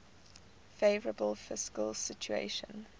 favourable fiscal situation